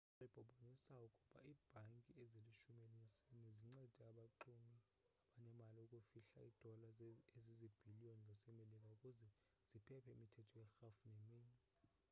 amaxwebhu abonise ukuba iibhanki ezilishumi elinesine zincede abaxumi abanemali ukufihla iidola ezizibhiliyon zasemerika ukuze ziphephe imithetho yerhafu neminye